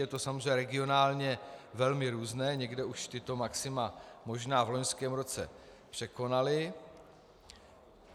Je to samozřejmě regionálně velmi různé, někde už tato maxima možná v loňském roce překonali.